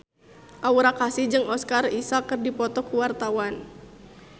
Aura Kasih jeung Oscar Isaac keur dipoto ku wartawan